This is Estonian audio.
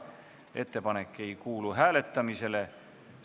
Ettepanek ei kuulu hääletamisele.